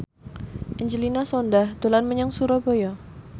Angelina Sondakh dolan menyang Surabaya